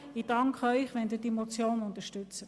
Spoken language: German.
Ich danke Ihnen, wenn Sie diese Motion unterstützen.